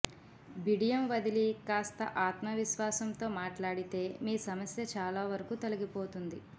బిడియం వదిలి కాస్త ఆత్మవిశ్వాసంతో మాట్లాడితే మీ సమస్య చాలా వరకు తొలగిపోతుంది